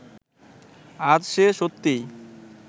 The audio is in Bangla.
আজ সে সত্যিই